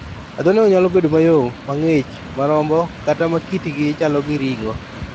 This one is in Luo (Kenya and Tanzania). Adhondego nyalo bedo mayom, mang'ich, ma rombo, kata ma kitgi chalo gi ring'o.